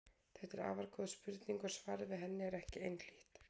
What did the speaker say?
Þetta er afar góð spurning og svarið við henni er ekki einhlítt.